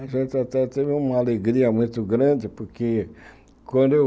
A gente até teve uma alegria muito grande, porque quando eu...